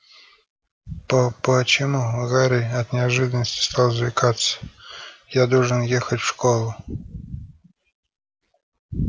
по почему гарри от неожиданности стал заикаться я должен ехать в школу